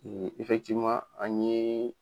an ɲee